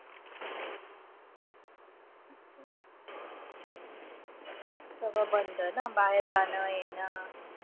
सगळं बंद ना. बाहेर जाणं-येणं.